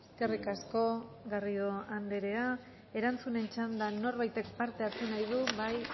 eskerrik asko garrido andrea erantzunen txanda norbaitek parte hartu nahi du bai